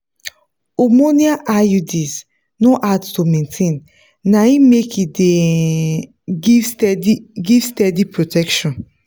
hormonal iuds no hard to maintain na e make e dey um give steady give steady protection.